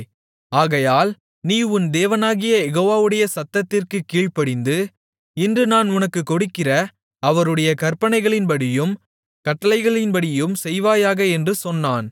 ஆகையால் நீ உன் தேவனாகிய யெகோவாவுடைய சத்தத்திற்குக் கீழ்ப்படிந்து இன்று நான் உனக்கு கொடுக்கிற அவருடைய கற்பனைகளின்படியும் கட்டளைகளின்படியும் செய்வாயாக என்று சொன்னான்